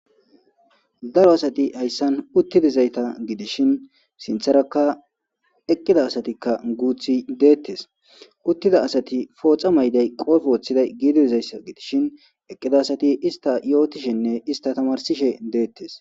darro assati hayissani utidizayitta gidishini sinitharaka eqidda assati guthi dettesi utida assatikka poxa mayiday qobbe wothidayisa gidishin eqidda assati issita yotishenne issita tamarisishe detesi.